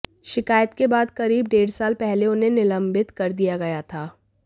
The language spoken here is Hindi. शिकायत के बाद करीब डेढ़ साल पहले उन्हें निलंबित कर दिया गया था